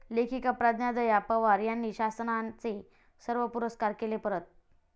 लेखिका प्रज्ञा दया पवार यांनी शासनाचे सर्व पुरस्कार केले परत